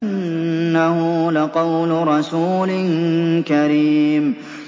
إِنَّهُ لَقَوْلُ رَسُولٍ كَرِيمٍ